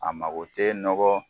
A mago tɛ nɔgɔ